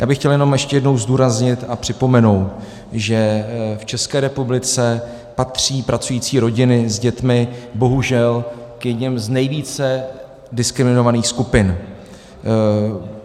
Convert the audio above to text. Já bych chtěl jenom ještě jednou zdůraznit a připomenout, že v České republice patří pracující rodiny s dětmi bohužel k jedněm z nejvíce diskriminovaných skupin.